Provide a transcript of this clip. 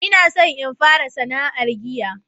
ina son in fara sana'ar giya